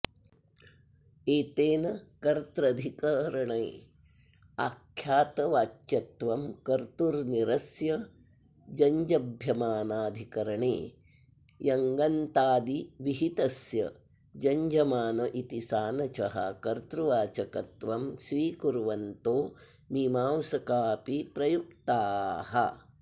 एतेन कत्र्रधिकरणे आख्यातवाच्यत्वं कर्तुर्निरस्य जञ्जभ्यमानाधिकरणे यङन्ताद्विहितस्य जञ्जमान इति सानचः कर्तृवाचकत्वं स्वीकुर्वन्तो मीमांसका अपि प्रयुक्ताः